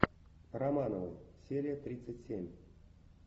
романовы серия тридцать семь